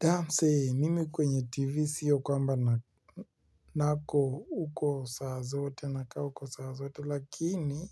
Dansi mimi kwenye tv sio kwamba nako huko saa zote nakaa huko saa zote lakini